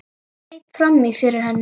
Greip fram í fyrir henni.